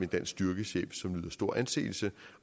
dansk styrkechef som nyder stor anseelse